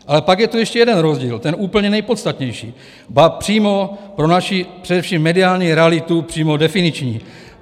Ale pak je tu ještě jeden rozdíl, ten úplně nejpodstatnější, ba přímo pro naši především mediální realitu přímo definiční.